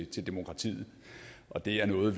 til demokratiet og det er noget